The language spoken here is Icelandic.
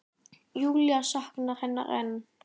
Júlía saknar hennar enn.